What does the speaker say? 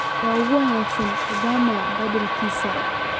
yaa u wanaagsan Obama badhkiisa